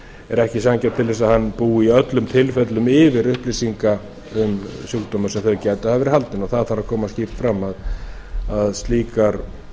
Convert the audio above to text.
er ekki ætlast til þess að hann búi í öllum tilfellum yfir upplýsingum um sjúkdóminn sem þau gætu hafa verið haldin og það kann að koma skýrt fram að slíkar